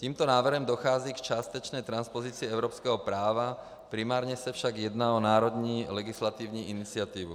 Tímto návrhem dochází k částečné transpozici evropského práva, primárně se však jedná o národní legislativní iniciativu.